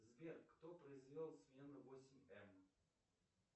сбер кто произвел смену восемь м